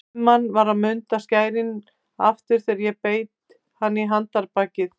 Guðmann var að munda skærin aftur þegar ég beit hann í handarbakið.